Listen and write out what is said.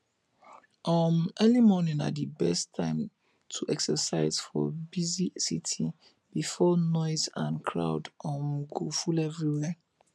um early morning na di best time to exercise for busy city before noise and crowd um go full everwhere